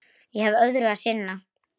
Ég hef öðru að sinna.